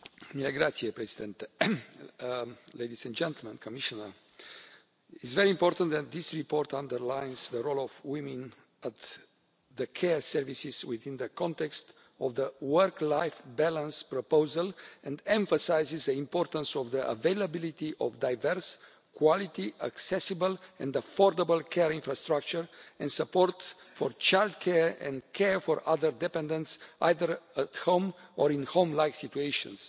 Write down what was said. Mr President, ladies and gentlemen, Commissioner, it's very important that this report underlines the role of women at the care services within the context of the work life balance proposal and emphasises the importance of the availability of diverse, quality, accessible and affordable care infrastructure and support for childcare and care for other dependents either at home or in home like situations.